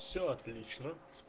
всё отлично